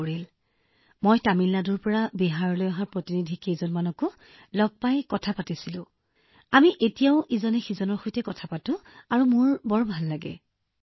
আৰু মই তামিলনাডুৰ পৰা বিহাৰলৈ অহা কিছুমান প্ৰতিনিধিকো লগ পাইছিলো সেয়েহে আমি তেওঁলোকৰ সৈতেও বাৰ্তালাপ কৰিছিলো আৰু আমি এতিয়াও ইজনে সিজনৰ সৈতে কথা পাতো সেয়েহে মই বহুত সুখী অনুভৱ কৰো